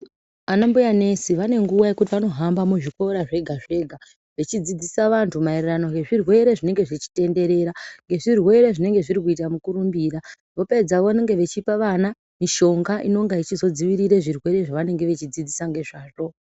Ana mbuya nesi vanenguwa yekuti vanohamba muzvikora zvega-zvega, vachidzidzisa vantu maererano ngezvirwere zvinenge zvichitenderera. Ngezvirwere zvinenge zvine mukurumbira. Vopedza vane ngevachipa vana mishonga, inenge ichidzivirira zvirwere zvavanenge vachidzidzisa ngezvazvo.